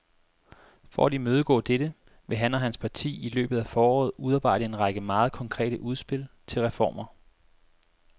For at imødegå dette vil han og hans parti i løbet af foråret udarbejde en række meget konkrete udspil til reformer.